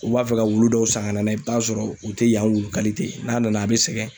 U b'a fɛ ka wulu dɔw san ka na n'a ye, i bɛ t'a sɔrɔ u tɛ yan wulu n'a nana, a bɛ sɛgɛn.